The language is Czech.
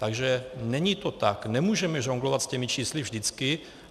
Takže není to tak, nemůžeme žonglovat s těmi čísly vždycky.